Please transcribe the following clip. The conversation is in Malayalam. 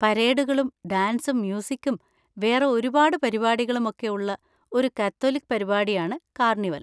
പരേഡുകളും ഡാൻസും മ്യൂസിക്കും വേറെ ഒരുപാട് പരിപാടികളും ഒക്കെ ഉള്ള ഒരു കാത്തോലിക് പരിപാടിയാണ് കാർണിവൽ.